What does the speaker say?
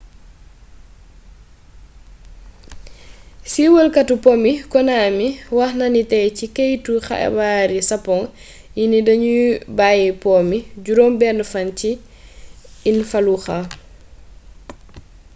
siiwalkatu po mi konami wax na ni tey ci keytu xibaari sapoŋ yi ni duñu bayyi po mi juróom benn fan ci in fallujah